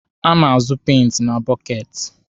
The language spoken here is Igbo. A na-azụ peenti na bọketi.